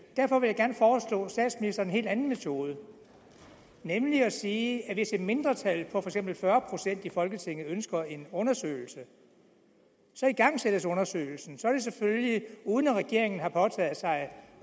derfor vil jeg gerne foreslå statsministeren en helt anden metode nemlig at sige at hvis et mindretal på for fyrre procent i folketinget ønsker en undersøgelse igangsættes undersøgelsen så sker det selvfølgelig uden at regeringen har påtaget sig at